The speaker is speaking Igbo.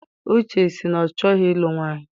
Uche sị na ọ chọghị ilu nwaanyị.